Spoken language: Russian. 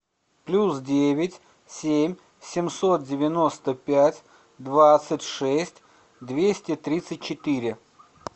плюс девять семь семьсот девяносто пять двадцать шесть двести тридцать четыре